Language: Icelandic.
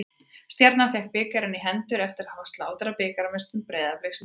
Stjarnan fékk bikarinn í hendurnar eftir að hafa slátrað bikarmeisturum Breiðabliks í dag.